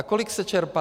A kolik se čerpá?